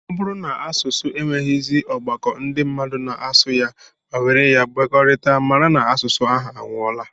Ọ bụrụ na asụsụ enweghịzi ọgbakọ ndị mmadụ na-asụ ya ma were ya emekọrịta, mara na asụsụ ahụ anwụọla